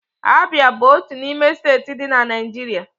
Abia bụ otú n'ime steeti dị na Naijiria.